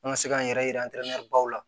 An ka se k'an yɛrɛ ye baw la